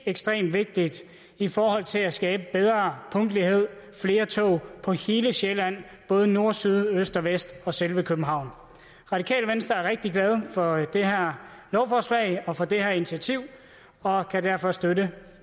ekstremt vigtigt i forhold til at skabe bedre punktlighed flere tog på hele sjælland både nord syd øst og vest og selve københavn radikale venstre er rigtig glade for det her lovforslag og for det her initiativ og kan derfor støtte